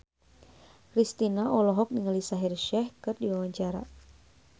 Kristina olohok ningali Shaheer Sheikh keur diwawancara